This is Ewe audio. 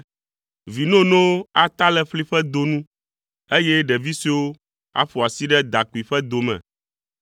Vi nonowo ata le ƒli ƒe do nu, eye ɖevi suewo aƒo asi ɖe dakpui ƒe do me.